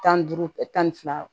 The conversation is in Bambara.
Tan duuru kɛ tan ni fila